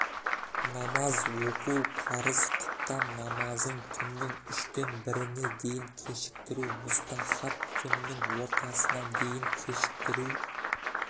намаз оқу парыз құптан намазын түннің үштен біріне дейін кешіктіру мұстахаб түннің ортасына дейін кешіктіру